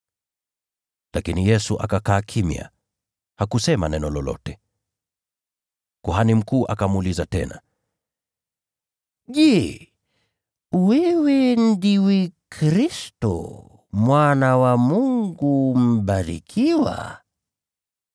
Lakini Yesu akakaa kimya, hakusema neno lolote. Kuhani mkuu akamuuliza tena, “Je, wewe ndiwe Kristo, Mwana wa Mungu Aliyebarikiwa?”